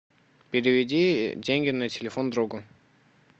переведи деньги на телефон другу